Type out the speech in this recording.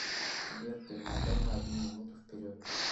сбер перемотай на одну минуту вперед